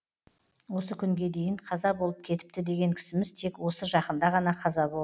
осы күнге дейін қаза болып кетіпті деген кісіміз тек осы жақында ғана қаза бол